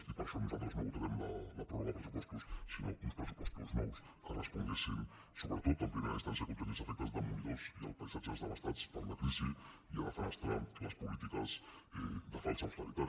i per això nosaltres no votarem la pròrroga de pressupostos sinó uns pressupostos nous que responguessin sobretot en primera instància a contenir els efectes demolidors i els paisatges devastats per la crisi i a defenestrar les polítiques de falsa austeritat